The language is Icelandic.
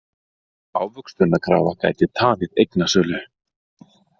Ávöxtunarkrafa gæti tafið eignasölu